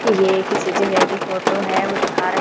ये किसी जगह की फोटो है वो दिखा--